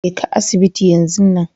jeka asibiti yan zun nan.